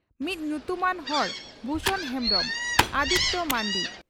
ᱢᱤᱫ ᱧᱩᱛᱩᱢᱟᱱ ᱦᱚᱲ ᱵᱷᱩᱥᱚᱱ ᱦᱮᱢᱵᱽᱨᱚᱢ (ᱟᱫᱤᱛᱤᱭᱚ ᱢᱟᱱᱰᱤ)